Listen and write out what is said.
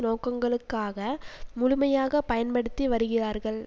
நோக்கங்களுக்காக முழுமையாக பயன்படுத்தி வருகிறார்கள்